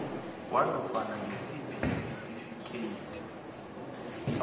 kwanofana ngisiphi isitifikeyiti